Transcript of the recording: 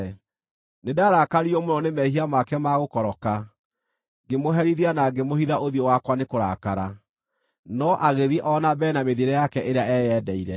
Nĩndarakaririo mũno nĩ mehia make ma gũkoroka; ngĩmũherithia na ngĩmũhitha ũthiũ wakwa nĩ kũrakara, no agĩthiĩ o na mbere na mĩthiĩre yake ĩrĩa eyendeire.